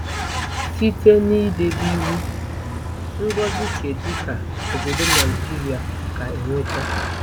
Site n'idebe Iwu, ngozi kedu ka obodo Naijiria ga-enweta?